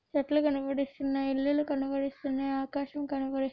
చెట్లు కనపడిస్తున్నాయి ఇల్లులు కనపడిస్తున్నాయి ఆకాశం కనపడిస్తు----